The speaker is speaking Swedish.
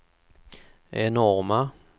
enorma